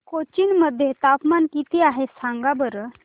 कोचीन मध्ये तापमान किती आहे सांगा बरं